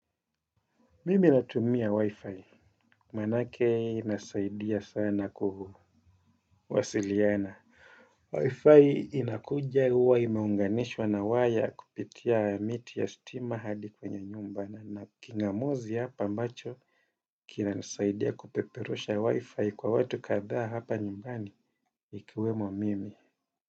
Mimi natumia wi-fi manake inasaidia sana kuwasiliana wi-fi inakuja huwa imeunganishwa na waya kupitia miti ya stima hadi kwenye nyumba na king'amuzi hapa ambacho kinasaidia kupeperusha wi-fi kwa watu kadha hapa nyumbani ikiwemo mimi.